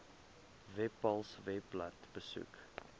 webpals webblad besoek